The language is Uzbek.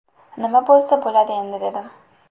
Nima bo‘lsa bo‘ladi endi, dedim.